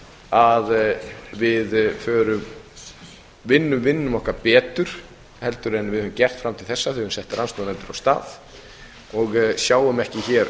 að við vinnum vinnuna okkar betur heldur en við höfum gert fram til þessa þegar við höfum sett rannsóknarnefndir af stað og sjáum ekki hér